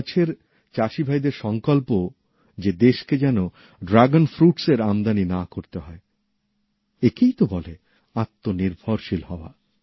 কচ্ছের চাষীভাইদের সংকল্প যে দেশকে যেন ড্রাগনফলের আমদানি না করতে হয় একেই ত বলে আত্মনির্ভরশীল হওয়া